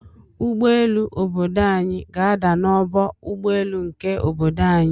Ụgbọelu obodo anyi ga ada na ọgbọ ụgbọ elu nke obodo anyi.